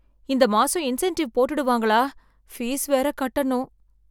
இந்த மாசம் இன்சென்டிவ் போட்டுடுவாங்களா பீஸ் வேற கட்டணும்.